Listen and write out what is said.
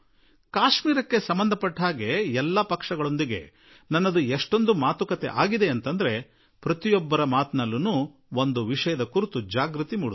ಕಾಶ್ಮೀರದ ಬಗ್ಗೆ ಎಲ್ಲಾ ಪಕ್ಷಗಳೊಡನೆ ನನ್ನ ಮಾತುಕತೆಯ ಪ್ರತಿ ಹಂತದಲ್ಲೂ ಒಂದು ಮಾತು ಅಗತ್ಯವಾಗಿ ಎಚ್ಚೆತ್ತುಕೊಳ್ಳುತ್ತಿತ್ತು